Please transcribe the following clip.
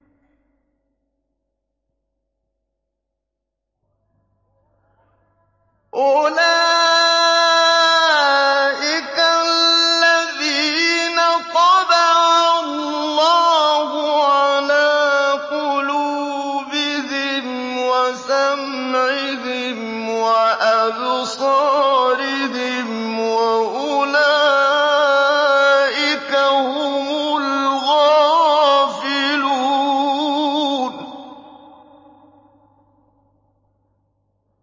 أُولَٰئِكَ الَّذِينَ طَبَعَ اللَّهُ عَلَىٰ قُلُوبِهِمْ وَسَمْعِهِمْ وَأَبْصَارِهِمْ ۖ وَأُولَٰئِكَ هُمُ الْغَافِلُونَ